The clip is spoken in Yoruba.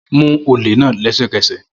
Mu ole naa lẹsẹkẹsẹ!